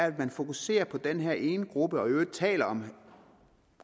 at man fokuserer på den her ene gruppe og i øvrigt taler om